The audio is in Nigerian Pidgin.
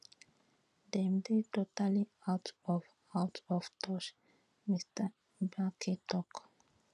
dem dey totally out of out of touch mr mbeki tok